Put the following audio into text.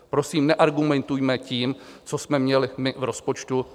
Prosím, neargumentujme tím, co jsme měli my v rozpočtu.